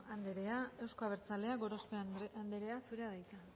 andrea euzko abertzaleak gorospe andrea zurea da hitza